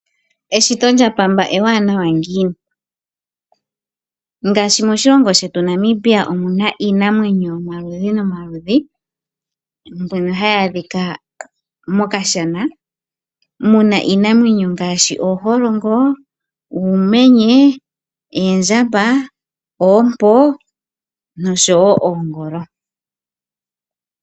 Eshito lyapamba ewanawa ngiini! Ngaashi moshilongo shetu Namibia omu na iinamwenyo yomaludhi nomaludhi mbyono hayi adhika mokashana mu na iinamwenyo ngaashi ooholongo, uumenye, oondjamba, oompo noshowo oongolo.